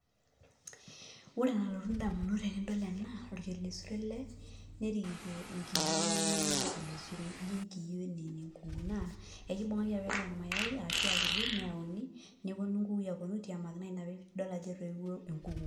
Ore enalotu ndamunot tanadol ena orkelesure ele nerikito nkiyo neme enorkelesure ijo enenkuku na kibelekenyaki apa ele irmayai ashu etudumuaki neyauni neponu nkukui aitiamaki na ina peidol ajo enkuku.